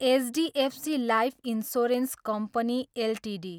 HDFC life insurance company Ltd